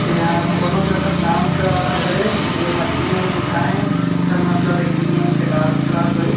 एहा कोनो जगह के डांस क्लास हरे जेन म डी एन लिखाए हे एकर मतलब एहा डी एन के डांस क्लास हो ही ।